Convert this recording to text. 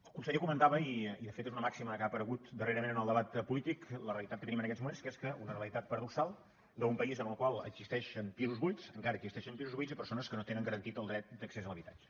el conseller comentava i de fet és una màxima que ha aparegut darrerament en el debat polític la realitat que tenim en aquests moments que és que una realitat paradoxal d’un país en el qual existeixen pisos buits encara existeixen pisos buits i persones que no tenen garantit el dret d’accés a l’habitatge